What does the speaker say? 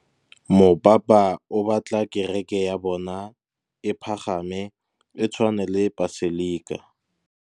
Mopapa o batla kereke ya bone e pagame, e tshwane le paselika.